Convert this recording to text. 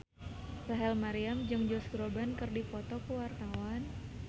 Rachel Maryam jeung Josh Groban keur dipoto ku wartawan